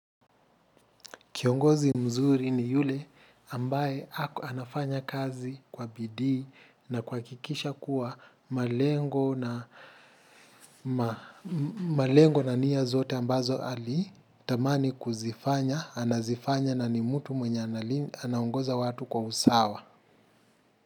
Kiongozi mzuri ni yule ambaye anafanya kazi kwa bidii na kuhakikisha kuwa malengo malengo na nia zote ambazo alitamani kuzifanya, anazifanya na ni mtu mwenye anangoza watu kwa usawa.